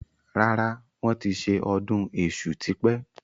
Rárá, wọn ti ṣe ọdún èṣù tí pẹ́